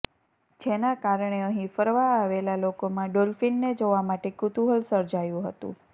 જેના કારણે અહીં ફરવા આવેલા લોકોમાં ડોલ્ફીનને જોવા માટે કુતૂહલ સર્જાયું હતું